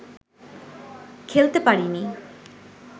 খেলতে পারিনি